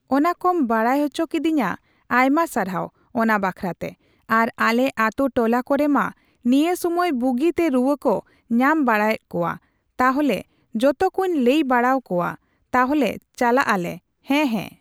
ᱚᱱᱟ ᱠᱚᱢ ᱵᱟᱲᱟᱭ ᱪᱚ ᱠᱤᱫᱤᱧᱟ ᱟᱭᱢᱟ ᱥᱟᱨᱦᱟᱣ ᱚᱱᱟ ᱵᱟᱠᱷᱨᱟᱛᱮ ᱾ᱟᱨ ᱟᱞᱮ ᱟᱛᱩ ᱴᱚᱞᱟ ᱠᱚᱨᱮ ᱢᱟ ᱱᱤᱭᱟᱹ ᱥᱩᱢᱟᱹᱭ ᱵᱩᱜᱤᱛᱮ ᱨᱩᱣᱟᱹ ᱠᱚ ᱧᱟᱢ ᱵᱟᱲᱟᱭᱮᱜ ᱠᱚᱣᱟ ᱛᱟᱦᱞᱮ ᱡᱚᱛᱚ ᱠᱚᱧ ᱞᱟᱹᱭ ᱵᱟᱲᱟᱣ ᱠᱚᱣᱟᱹᱧ, ᱛᱟᱞᱦᱮ ᱪᱟᱞᱟᱜᱼᱟᱞᱮ ᱦᱮᱸ ᱦᱮᱸ